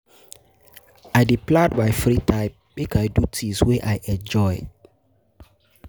I dey plan my free time, make I do things wey I enjoy.